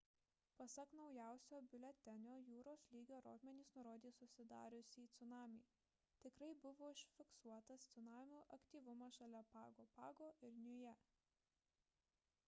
pasak naujausio biuletenio jūros lygio rodmenys nurodė susidariusį cunamį tikrai buvo užfiksuotas cunamio aktyvumas šalia pago pago ir niujė